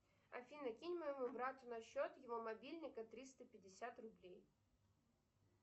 афина кинь моему брату на счет его мобильника триста пятьдесят рублей